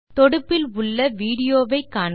தொடுப்பில் உள்ள விடியோ வை காண்க